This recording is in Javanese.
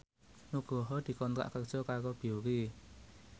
Nugroho dikontrak kerja karo Biore